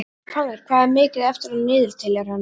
Fannar, hvað er mikið eftir af niðurteljaranum?